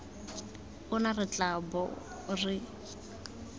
ona re tla bong re